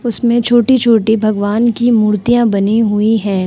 उसमें छोटी-छोटी भगवान की मूर्तियाँ बनी हुई हैं।